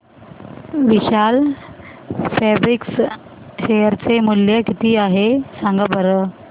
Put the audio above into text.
विशाल fabrics share चे मूल्य किती आहे सांगा बरं